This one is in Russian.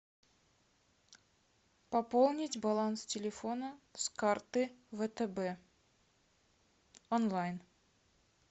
пополнить баланс телефона с карты втб онлайн